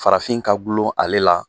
Farafin ka Dulon ale la